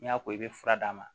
N'i y'a ko i bɛ fura d'a ma